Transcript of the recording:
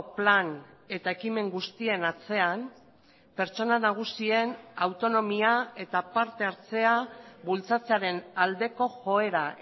plan eta ekimen guztien atzean pertsona nagusien autonomia eta partehartzea bultzatzearen aldeko joera